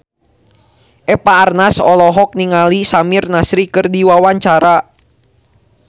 Eva Arnaz olohok ningali Samir Nasri keur diwawancara